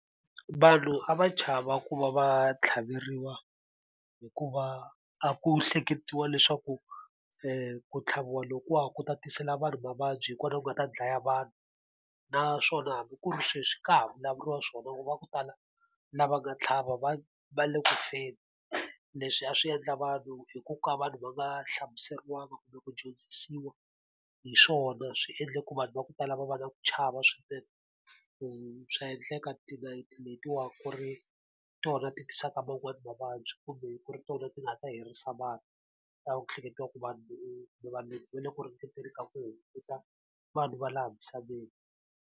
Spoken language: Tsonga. Vanhu a va chava ku va va tlhaveriwa hikuva a ku hleketiwa leswaku ku tlhaviwa loko wa ha ku tatisela vanhu mavabyi, hi kona ku nga ta dlaya vanhu. naswona hambi ku ri sweswi ka ha vulavuriwa swona loko va ku tala lava nga tlhava va va le ku feni, leswi a swi endla vanhu hi ku ka vanhu va nga hlamuseriwaka kumbe ku dyondzisiwa hi swona swi endle ku vanhu va ku tala va va na ku chava swinene. Swa endleka tinayiti letiwani ku ri tona ti tisaka man'wani mavabyi kumbe ku ri tona ti nga ta herisa vanhu. A hleketiwa ku vanhu kumbe vanhu va le ku ringeteni ka ku hunguta vanhu va laha misaveni.